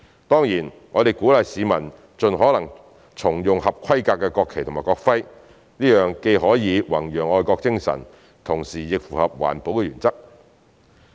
當然，我們鼓勵市民盡可能重用合規格的國旗及國徽，這樣既可弘揚愛國精神，同時亦符合環保原則。